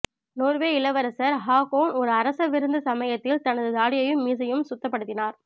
Norway இளவரசர் Haakon ஒரு அரச விருந்து சமயத்தில் தனது தாடியையும் மீசையும் சுத்தப்படுத்தினார்